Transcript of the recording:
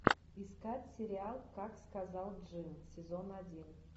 искать сериал как сказал джин сезон один